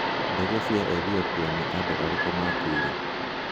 Ndege cia Ethiopia: Nĩ andũ arĩkũ maakuire?